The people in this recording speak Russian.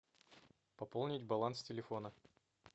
пополнить баланс телефона